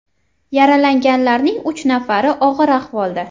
Yaralanganlarning uch nafari og‘ir ahvolda.